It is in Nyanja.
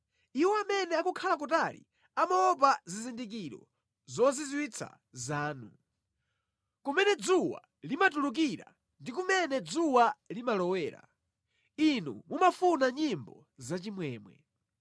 Iwo amene akukhala kutali amaopa zizindikiro zozizwitsa zanu; kumene dzuwa limatulukira ndi kumene dzuwa limalowera. Inu mumafuna nyimbo zachimwemwe.